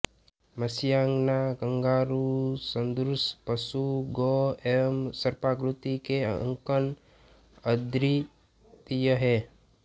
मत्स्यांगना kangaroo सदृश पशु गोह एवं सर्पाकृति के अंकन अद्वितीय हैं